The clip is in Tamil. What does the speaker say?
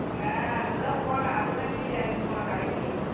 ஆஹ் இப்ப தான் போன அதுக்கு தான் கீழ இறங்கி போனேன் கடைக்கு